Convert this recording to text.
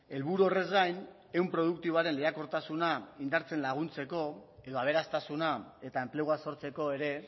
helburu horrez gain ehun produktiboaren lehiakortasuna indartzen laguntzeko edo aberastasuna eta enplegua sortzeko ere